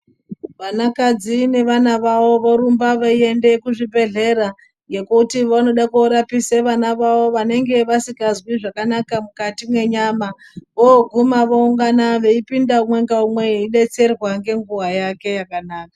Vanakadzi nevana vavo vorumba veienda kuzvibhedhlera ngekuti vanoda korapise vana vavo vanenga vasingazwi zvakanaka mukati mwenyama voguma voungana veipinda umwe ngaumwe veidetserwa ngenguwa yake yakanaka.